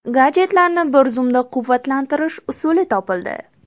Gadjetlarni bir zumda quvvatlantirish usuli topildi.